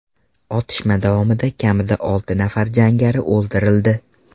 Otishma davomida kamida olti nafar jangari o‘ldirildi.